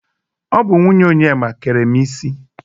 Ọ bụ nwunye Onyema kere m isi.